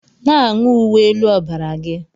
Na-aṅụ uwe elu ọbara gị!